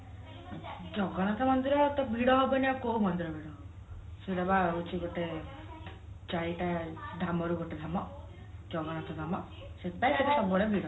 ଜଗନ୍ନାଥ ମନ୍ଦିର ଟା ଭିଡ ହବନି ତ ଆଉ କୋଉ ମନ୍ଦିର ଭିଡ ହବ ସେଇଟା ବା ହଉଛି ଗୋଟେ ଚାରିଟା ଧାମରୁ ଗୋଟେ ଧାମ ଜଗନ୍ନାଥ ଧାମ